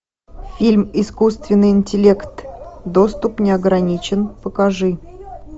фильм искусственный интеллект доступ не ограничен покажи